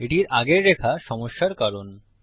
এটির আগের লাইন সমস্যার কারণ